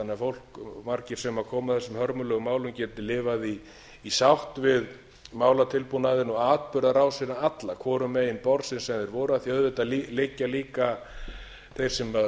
þannig að margir sem komu að þessum hörmulegu málum geti lifað í sátt við málatilbúnaðinn og atburðarásina alla hvorum megin borðsins sem þeir voru af því auðvitað liggja líka þeir sem